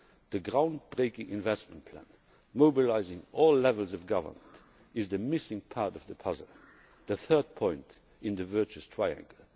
instruments. The ground breaking investment plan, mobilising all levels of government, is the missing part of the puzzle, the third point in the virtuous